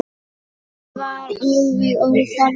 Það var alveg óþarfi.